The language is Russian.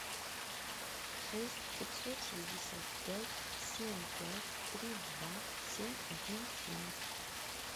шесть пятьсот шестьдесят пять семь пять три два семь один семь